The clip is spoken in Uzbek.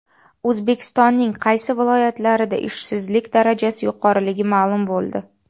O‘zbekistonning qaysi viloyatlarida ishsizlik darajasi yuqoriligi ma’lum bo‘ldi.